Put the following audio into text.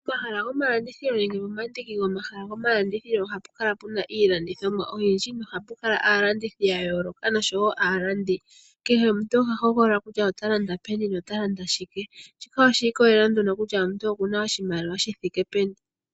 Omahala gomalandithilo nenge omandiki gomahala gomalandithilo ohapu kala pu na iilandithomwa oyindji nohapu kalaandithi ya yooloka noshowo aalandi. Kehe omuntu oha hogolola kutya ota landa peni nenge shike. Shika oshi ikolelela kutya omuntu oku na oshimaliwa shi thike peni.